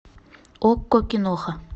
окко киноха